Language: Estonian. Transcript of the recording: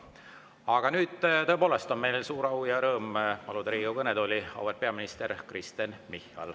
Aga nüüd tõepoolest on mul suur au ja rõõm paluda Riigikogu kõnetooli auväärt peaminister Kristen Michal.